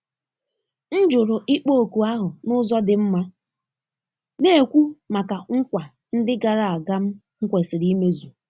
M jụrụ ịkpọ oku ahụ n'ụzọ dị mma, na-ekwu maka nkwa ndị gara aga m kwesịrị imezu.